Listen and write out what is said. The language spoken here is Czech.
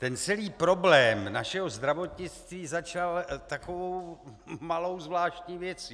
Ten celý problém našeho zdravotnictví začal takovou malou zvláštní věcí.